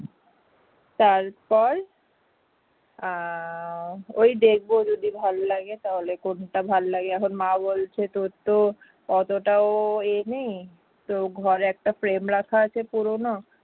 আহ ওই দেখব যদি ভালো লাগে তাহলে কোনটা ভালো লাগে এখন মা বলছে তো তোর তো অতটাও ইয়ে নেই তো ঘরে একটা frame রাখা আছে পুরনো